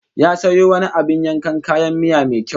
Ya sayo wani abin yankan kayan miya mai kyau